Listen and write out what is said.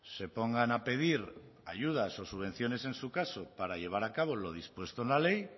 se pongan a pedir ayudas o subvenciones en su caso para llevar a cabo lo dispuesto en la ley